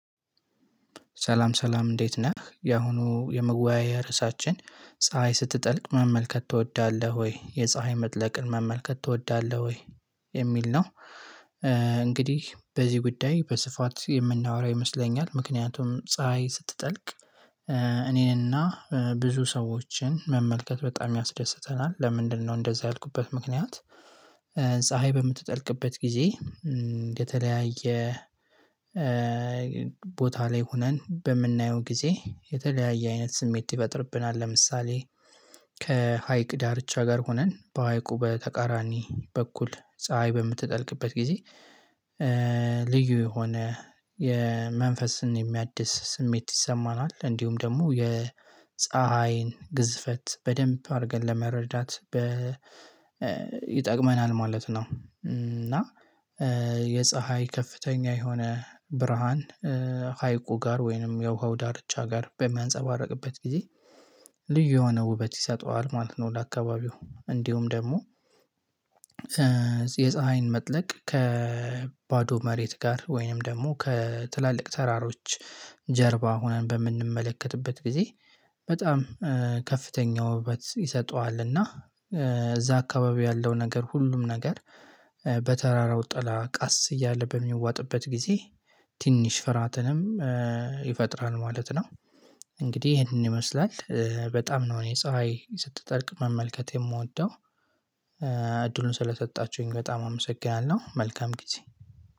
ሰላም ሰላም እንዴት ነህ ያሁኑ የመወያያ ርዕሳችን ፀሀይ ስትጠልቅ መመልከት ትወዳለህ ወይ የፀሀይ መጥለቅን መመልከት ትወዳለህ ወይ? የሚል ነው። እንግዲህ በዚህ ጉዳይ በስፋት የምናወራ ይመስለኛል ምክንያቱም ፀሀይ ስትጠልቅ እኔንና ብዙ ሰዎችን መመልከት በጣም ያስደስተናል ለምንድነው እንደዛ ያልኩበት ምክንያት። ፀሀይ በምትጠልቅበት ጊዜ የተለያየ ቦታ ላይ ሆነን በምናየው ጊዜ የተለያየ አይነት ስሜት ይፈጥርብናል። ለምሳሌ ከሀይቅ ዳርቻ ጋር ሆነን በሀይቁ በተቃራኒ በኩል ፀሀይ በምትጠልቅበት ጊዜ ልዩ የሆነ የመንፈስን የሚያድስ ስሜት ይሰማናል እንዲሁም ደግሞ የፀሀይን ግዝፈት በደንብ አድርገን ለመረዳት ይጠቅመናል ማለት ነው። እና የፀሀይ ከፍተኛ የሆነ ብርሃን ሀይቁ ጋር ወይንም የውሃው ዳርቻ ጋር በሚያንፀባርቅበት ጊዜ ልዩ የሆነ ውበት ይሰጠዋል ማለት ነው። ለአካባቢው እንዲሁም ደግሞ የፀሀይን መጥለቅ ከባዶ መሬት ጋር ወይንም ደግሞ ከትላልቅ ተራሮች ጀርባ ሆነን በምንመለከትበት ጊዜ በጣም ከፍተኛ ውበት ይሰጠዋል። እና እዛ አካባቢ ያለው ነገር ሁሉም ነገር በተራራው ጥላ ቃስ እያለ በሚዋጥበት ጊዜ ትንሽ ፍራትንም ይፈጥራል ማለት ነው። እንግዲህ ይሄንን ይመስላል በጣም ነው እኔ ፀሀይ ስትጠልቅ መመልከት የምወደው። እድሉን ስለሰጣችሁኝ በጣም አመሰግናለሁ። መልካም ጊዜ